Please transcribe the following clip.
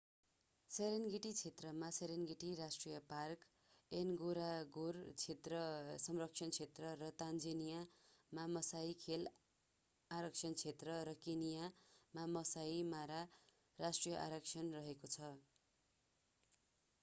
Serengeti क्षेत्रमा Serengeti राष्ट्रिय park Ngorongoro संरक्षण क्षेत्र र तन्जानियामा मासाइ खेल आरक्षित क्षेत्र र केन्यामा मासाइ मारा राष्ट्रिय आरक्षण रहेको छ